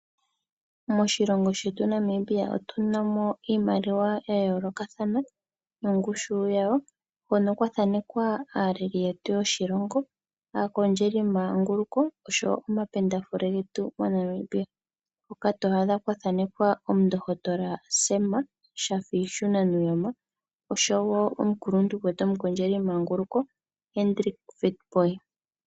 Moshilongo shetu Namibia otu namo iimaliwa yayo lokathana nongushu yawo, hono kwathanekwa aaleli yetu yoshilongo, aakondjeli manguluko oshowo omapendafule getu moNamibia, hoka to adha kwathanekwa omundohotola Sam Shafishuna Nujoma oshowo omukuluntu gwetu omukondjeli manguluko Hendrick Witbooi.